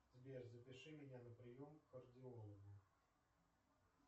сбер запиши меня на прием к кардиологу